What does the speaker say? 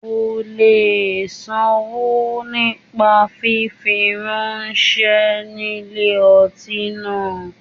O le sanwó nípa fífi ráńṣẹ́ ní ilé ọtí náà.